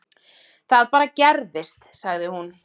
Það bara gerðist, sagði hún.